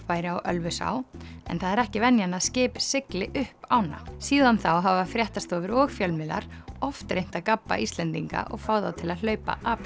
væri á Ölfusá en það er ekki venjan að skip sigli upp ána síðan þá hafa fréttastofur og fjölmiðlar oft reynt að gabba Íslendinga og fá þá til að hlaupa apríl